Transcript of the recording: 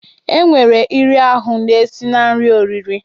E nwere iri ahụ na-esi na ihe oriri